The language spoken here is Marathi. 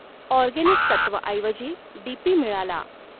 ऑर्गेनिक तत्वऐवजी डीपी मिळाला.